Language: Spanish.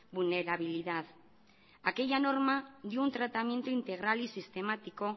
vulnerabilidad aquella norma dio un tratamiento integral y sistemático